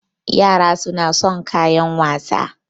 Yara suna son kayan wasa